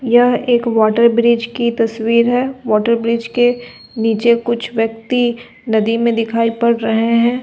यह एक water bridge की तस्वीर है वॉटर ब्रिज के नीचे कुछ व्यक्ति नदी में दिखाई पड़ रहे हैं।